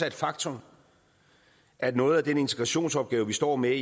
et faktum at noget af den integrationsopgave vi står med